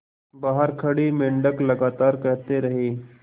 बाहर खड़े मेंढक लगातार कहते रहे